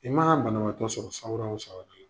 I mana banabaatɔ sɔrɔ sawura o sawura la